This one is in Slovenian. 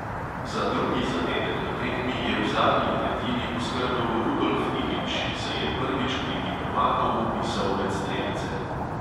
Za drugi zadetek na tekmi je v zadnji tretjini poskrbel rudolf ilić, ki se je prvič v ligi prvakov vpisal med strelce.